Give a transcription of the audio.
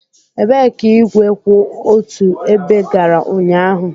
Ebee ka igwe kwụ otu ebe gara ụnyaahụ?